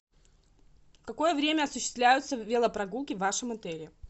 в какое время осуществляются велопрогулки в вашем отеле